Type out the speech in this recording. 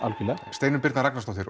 Steinunn Birna Ragnarsdóttir